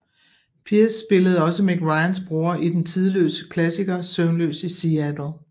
Pierce spillede også Meg Ryans bror i den tidløse klassiker Søvnløs i Seattle